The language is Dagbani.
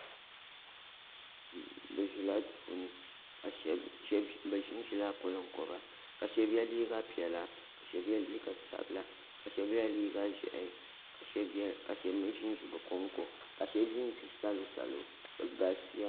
bɛ ʒɛla do puuni ɛ ʒɛla konkoba ka shɛbi yɛ liga piɛla ka shɛbi yɛ liga sabila ka shɛbi yɛ liga ʒiɛhi ka shɛbi mi ʒɛn ʒɛ be konkon be ʒɛn ʒɛ salosalo ka